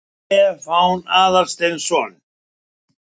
Stefán Aðalsteinsson.